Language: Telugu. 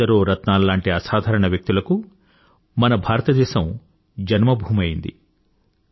ఎందరో రత్నాల్లాంటి అసాధారణ వ్యక్తులకు మన భారతదేశం జన్మ భూమి అయ్యింది